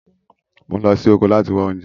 Mò ń lọ sí oko láti wá oúnjẹ